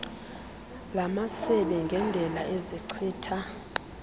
lamasebe ngendela ezichitha